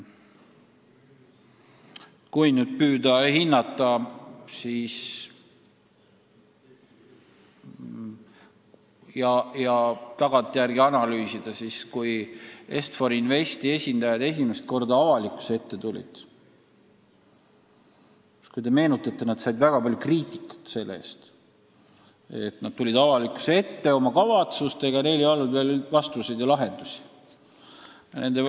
Kui nüüd püüda hinnata ja tagantjärele analüüsida, siis kui Est-For Investi esindajad esimest korda avalikkuse ette tulid, siis nad kuulsid väga palju kriitikat selle eest, et nad tulid üldsuse ette oma kavatsustega, vastuseid küsimustele ja lahendusi veel polnud.